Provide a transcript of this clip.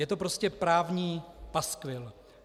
Je to prostě právní paskvil.